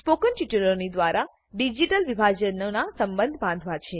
spoken ટ્યુટોરિયલોની દ્વારા digital વિભાજનનો સંબંધ બાંધવા છે